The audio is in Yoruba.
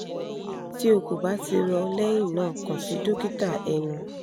ti o ko ba ti rọ lẹhinna kan si dokita ẹnu